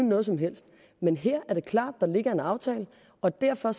noget som helst men her er det klart at der ligger en aftale og derfor